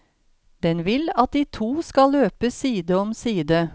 Den vil at de to skal løpe side om side.